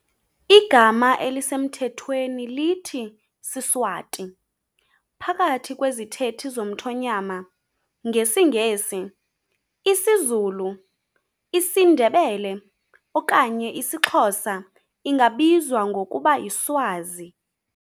Igama elisemthethweni lithi "siSwati" phakathi kwezithethi zomthonyama, ngesiNgesi, isiZulu, isiNdebele okanye isiXhosa ingabizwa ngokuba yiSwazi.